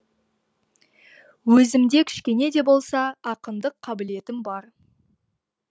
өзімде кішкене де болса ақындық қабілетім бар